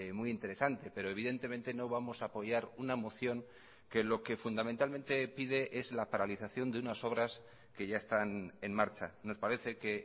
muy interesante pero evidentemente no vamos a apoyar una moción que lo que fundamentalmente pide es la paralización de unas obras que ya están en marcha nos parece que